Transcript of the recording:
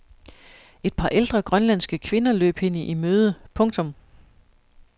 Et par ældre grønlandske kvinder løb hende i møde. punktum